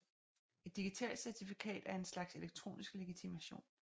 Et digitalt certifikat er en slags elektronisk legitimation